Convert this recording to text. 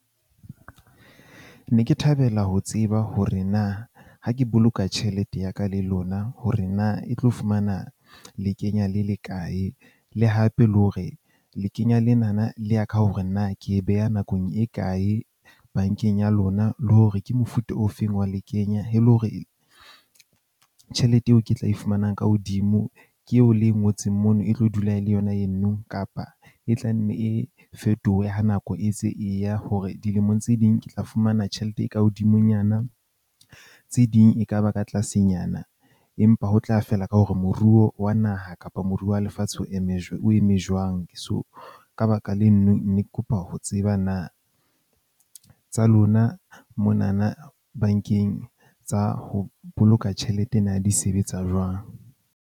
Ne ke thabela ho tseba hore na ha ke boloka tjhelete ya ka le lona hore na e tlo fumana le kenya le le kae. Le hape le hore le kenya lena na le ya ka hore na ke e beha nakong e kae bank-eng ya lona le hore ke mofuta ofeng wa le kenya. E le hore tjhelete eo ke tla e fumanang ka hodimo ke eo le e ngotseng mono e tlo dula e le yona e nno kapa e tla nne e fetohe ha nako e ntse e ya, hore dilemong tse ding ke tla fumana tjhelete e ka hodimonyana. Tse ding e ka ba ka tlasenyana. Empa ho tla feela ka hore moruo wa naha kapa moruo wa lefatshe o eme jwang, o eme jwang. So, ka baka lenno ne ke kopa ho tseba na, tsa lona mona na bank-eng tsa ho boloka tjhelete na di sebetsa jwang.